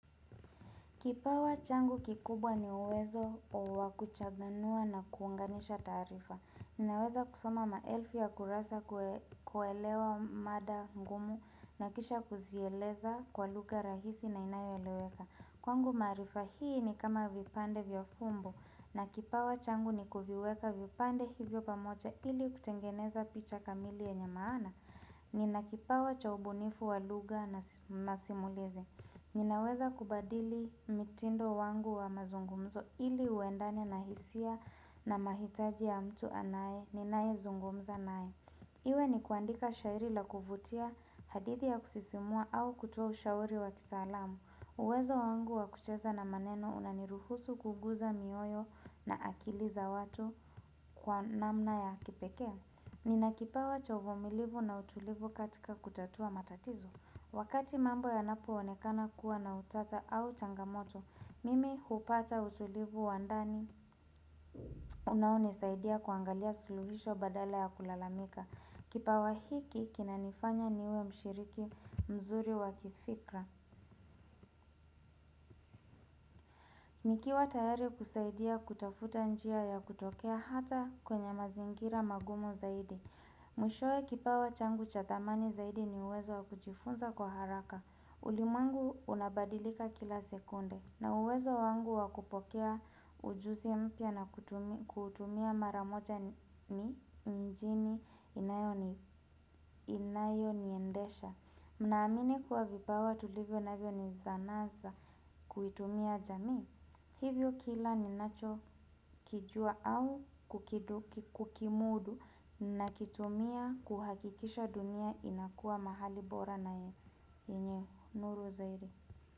Kipawa changu kikubwa ni uwezo uwa kuchabanua na kuunganisha tarifa. Ninaweza kusoma maelfu ya kurasa kuelewa mada ngumu na kisha kuzieleza kwa luga rahisi na inayo eleweka. Kwangu marifa hii ni kama vipande viofumbo na kipawa changu ni kufiweka vipande hivyo pamocha ili kutengeneza picha kamili yenye maana. Nina kipawa cha ubunifu wa luga na masimulizi. Ninaweza kubadili mitindo wangu wa mazungumzo ili uendane na hisia na mahitaji ya mtu anaye ninae zungumza naye. Iwe ni kuandika shairi la kuvutia hadithi ya kusisimua au kutoa ushauri wa kisalamu. Uwezo wangu wa kucheza na maneno unaniruhusu kuguza mioyo na akili za watu kwa namna ya kipeke. Ninakipawa cha uvumilivu na utulivu katika kutatua matatizo. Wakati mambo ya napo onekana kuwa na utata au changamoto, mimi hupata utulivu wa ndani. Unauni saidia kuangalia suluhisho badala ya kulalamika. Kipawa hiki, kinanifanya niwe mshiriki mzuri wakifikra. Nikiwa tayari kusaidia kutafuta njia ya kutokea hata kwenye mazingira magumu zaidi. Mwishoe kipawa changu cha thamani zaidi ni uwezo wakujifunza kwa haraka. Ulimwengu unabadilika kila sekunde na uwezo wangu wakupokea ujuzi mpya na kutumia maramoja ni mjini inayo ni endesha. Mnaamini kuwa vipawa tulivyo navyo ni zanaza kuitumia jamii. Hivyo kila ninacho kijua au kukiduki kukimudu na kitumia kuhakikisha dunia inakua mahali bora naye. Enye, nuru zairi.